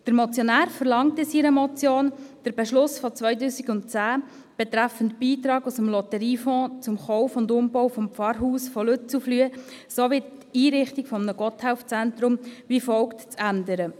Der Motionär verlangt in seiner Motion, der Beschluss von 2010 betreffend «Beitrag aus dem Lotteriefonds zum Kauf und zum Umbau des Pfarrhauses von Lützelflüh sowie zur Errichtung eines Gotthelf-Zentrums» sei wie folgt zu ändern: